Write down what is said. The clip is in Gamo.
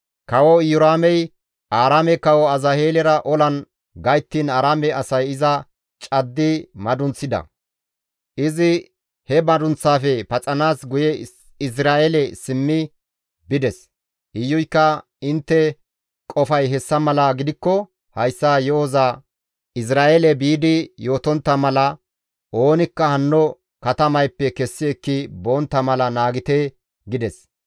Kawo Iyoraamey Aaraame kawo Azaheelera olan gayttiin Aaraame asay iza caddi madunththida; izi he madunththaafe paxanaas guye Izra7eele simmi bides. Iyuykka, «Intte qofay hessa mala gidikko hayssa yo7oza Izra7eele biidi yootontta mala oonikka hanno katamayppe kessi ekki bontta mala naagite» gides.